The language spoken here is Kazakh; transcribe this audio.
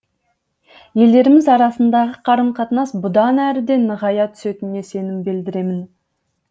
елдеріміз арасындағы қарым қатынас бұдан әрі де нығая түсетініне сенім білдіремін